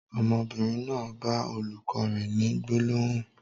Ọmọbìnrin náà bá olùkọ́ rẹ ni gbólóhùn.